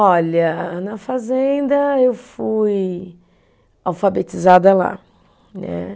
Olha, na fazenda eu fui alfabetizada lá, né